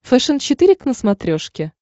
фэшен четыре к на смотрешке